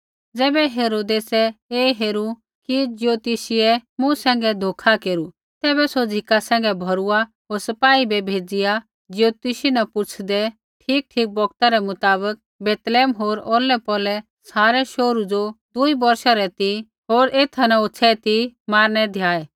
ज़ैबै हेरोदेसै ऐ हेरू कि ज्योतषियै मूँ सैंघै धोखा केरू तैबै सौ झ़िका सैंघै भौरूआ होर सपाई बै भेज़िआ ज्योतिषी न पुछ़ूऐदै ठीकठीक बौगता रै मुताबक बैतलैहम होर औरलै पौरलै सारै शोहरू ज़ो दूई बौर्षै रै ती होर एथा न होछ़ै ती मारनै द्याऐ